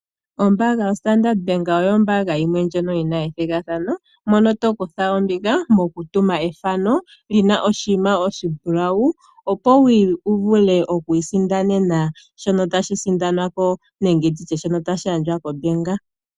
Ombaanga yo Standard oyo ombaanga yimwe ndjono yina ethimbo mono tokutha ombinga mokutuma ethano lina oshinima shono oshimbulawu opo wuvule oku isindanena shoka tashi sindanwa nengw shono tashi gandjwa kombaanga.